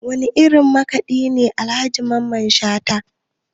Wane irin makaɗi ne Alhaji Mamman Shata?